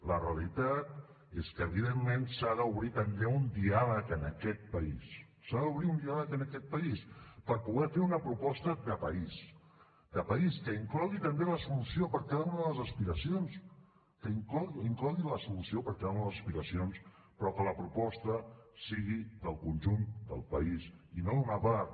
la realitat és que evidentment s’ha d’obrir també un diàleg en aquest país s’ha d’obrir un diàleg en aquest país per poder fer una proposta de país de país que inclogui també la solució per a cada una de les aspiracions que inclogui la solució per a cada una de les aspiracions però que la proposta sigui del conjunt del país i no d’una part